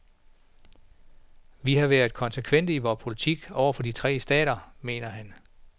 Vi har været konsekvente i vores politik over for de tre stater, mener han.